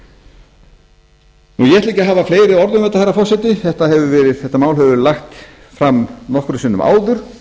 ég ætla ekki að hafa fleiri orð um þetta herra forseti þetta mál hefur verið lagt fram nokkrum sinnum áður